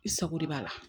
I sago de b'a la